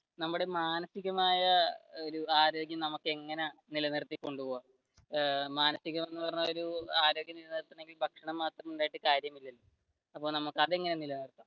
നമ്മുടെ മാനസികമായ ഒരു ആരോഗ്യം നമുക്ക് എങ്ങനെ നിലനിർത്തി കൊണ്ടുപോകാം മാനസികം എന്ന് പറഞ്ഞ ഒരു